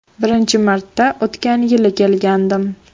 Birinchi marta o‘tgan yili kelgandim.